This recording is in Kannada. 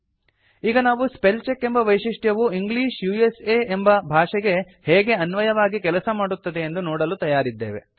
ಈಗ ನಾವು ಸ್ಪೆಲ್ ಚೆಕ್ ಎಂಬ ವೈಶಿಷ್ಟ್ಯವು ಇಂಗ್ಲಿಷ್ ಉಸಾ ಎಂಬ ಭಾಷೆಗೆ ಹೇಗೆ ಅನ್ವಯವಾಗಿ ಕೆಲಸ ಮಾಡುತ್ತದೆಯೆಂದು ನೋಡಲು ತಯಾರಿದ್ದೇವೆ